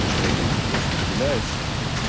человек очень выделяется